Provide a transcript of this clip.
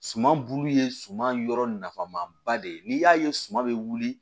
Suman bulu ye suman yɔrɔ nafama ba de ye n'i y'a ye suma bɛ wuli